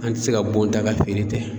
An tɛ se ka bon ta ka feere ten